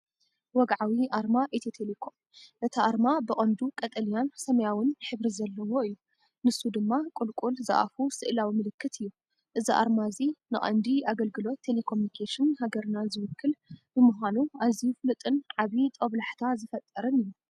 ወግዓዊ ኣርማ ኢትዮ ቴሌኮም። እቲ ኣርማ ብቐንዱ ቀጠልያን ሰማያውን ሕብሪ ዘለዎ እዩ። ንሱ ድማ ቁልቁል ዝኣፉ ስእላዊ ምልክት እዩ። እዚ ኣርማ እዚ ንቐንዲ ኣገልግሎት ቴሌኮሙኒኬሽን ሃገርና ዝውክል ብምዃኑ ኣዝዩ ፍሉጥን ዓቢ ጦብላሕታ ዝፈጥርን እዩ።